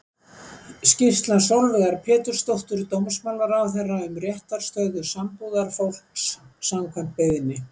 Skýrsla Sólveigar Pétursdóttur dómsmálaráðherra um réttarstöðu sambúðarfólks, samkvæmt beiðni.